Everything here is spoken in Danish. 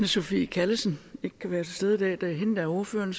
sophie callesen ikke kan være til stede i dag det er hende der er ordføreren